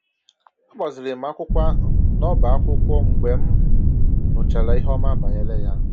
A gbaziiri m akwụkwọ ahụ n’ọ́bá akwụkwọ mgbe m nụchara ihe ọma banyere ya